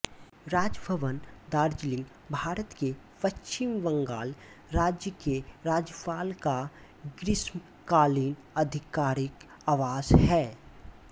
राजभवन दार्जिलिंग भारत के पश्चिम बंगाल राज्य के राज्यपाल का ग्रीष्मकालीन आधिकारिक आवास है